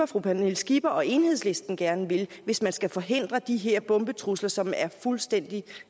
fru pernille skipper og enhedslisten gerne vil hvis man skal forhindre de her bombetrusler som er fuldstændig